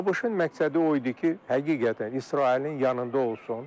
ABŞ-ın məqsədi o idi ki, həqiqətən İsrailin yanında olsun.